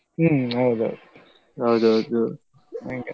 ಹ್ಮ್‌ ಹೌದೌದು ಹೌದೌದು ಹಂಗೆ.